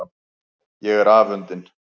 Ég er afundin.